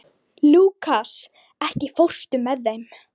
Lúkas, ekki fórstu með þeim?